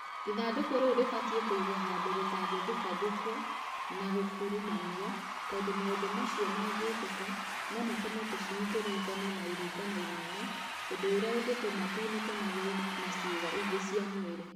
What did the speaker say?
Ithandũkũ rĩu rĩbataire kũigwo handũ rĩtangĩthukathuko na gũkurumanio tondũ maũndũ macio mangĩkĩka no matũme tũcui tũringane na iringa inene ũndũ ũrĩa ũngĩtũma tunĩke magũrũ na ciĩga ingĩ cia mwĩrĩ.